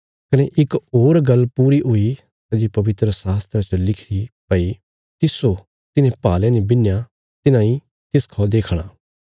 कने इक होर गल्ल पूई हुई सै जे पवित्रशास्त्रा च लिखिरी भई तिस्सो तिन्हें भाले ने बिन्हया तिन्हां इ तिसखा देखणा